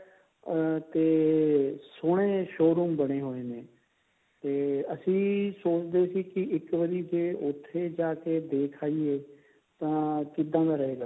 ਅਹ ਤੇ ਬੜੇ ਸੋਹਣੇ showroom ਬਣੇ ਹੋਏ ਨੇ ਤੇ ਅਸੀਂ ਸੋਚਦੇ ਸੀ ਇੱਕ ਵਾਰੀ ਜੇ ਉੱਥੇ ਜਾਕੇ ਦੇਖ ਆਈਏ ਤਾਂ ਕਿੱਦਾ ਦਾ ਰਹੇਗਾ